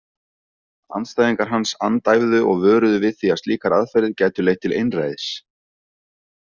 Andstæðingar hans andæfðu og vöruðu við því að slíkar aðferðir gætu leitt til einræðis.